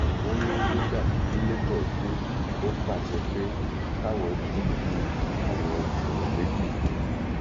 wọn ní nígbà tí lebo dé ó pàṣẹ pé káwọn dìgbù àwọn èèyàn méjì yìí